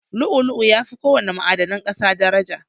Lu'u-lu'u yafi ko wana ma'adanan ƙasa daraja.